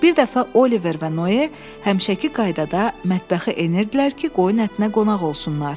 Bir dəfə Oliver və Noe həmişəki qaydada mətbəxə enirdilər ki, qoyun ətinə qonaq olsunlar.